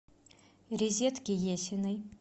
резедке есиной